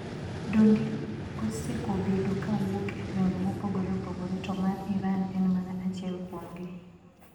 Dondi osekobedo kawuok e gwenge mopogore opogore to mar Iran en mana achiel kuomgi.